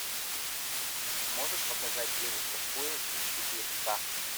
можешь показать девушка в поезде четыре ка